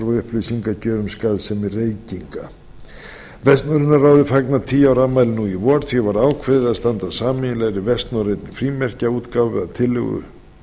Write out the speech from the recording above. upplýsingagjöf um skaðsemi reykinga vestnorræna ráðið fagnar tíu ára afmæli í vor því var ákveðið að standa að sameiginlegri vestnorrænni frímerkjaútgáfu að tillögu